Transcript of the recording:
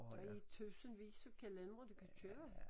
Der er tusindvis af kalendere du kan købe